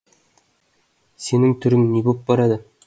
сенің түрің не боп барады